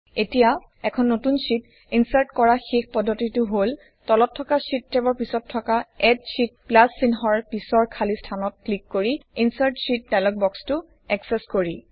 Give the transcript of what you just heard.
এখন নতুন sheet insert কৰা শেষ পদ্ধতিটো হল তলত থকা শ্বিট টেবৰ পিছত থকা এড শীত প্লাচ চিহ্নৰ পিছৰ খালি স্থানত ক্লিক কৰি ইনচাৰ্ট শীত ডায়্লগ বক্স টো এক্সেচ কৰি